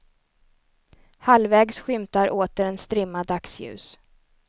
Halvvägs skymtar åter en strimma dagsljus.